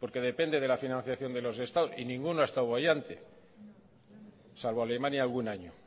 porque depende de la financiación de los estados y ninguno ha estado boyante salvo alemania algún año